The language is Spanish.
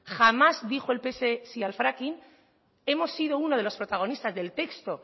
jamás dijo el pse si al fracking hemos sido uno de los protagonistas del texto